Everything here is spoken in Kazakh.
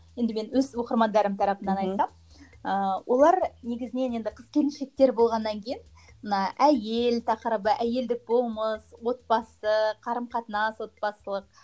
енді мен өз оқырмандарым тарапынан айтсам ыыы олар негізінен енді қыз келіншектер болғаннан кейін мына әйел тақырыбы әйелдік болмыс отбасы қарым қатынас отбасылық